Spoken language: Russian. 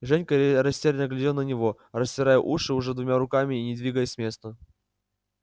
женька растерянно глядел на него растирая уши уже двумя руками и не двигаясь с места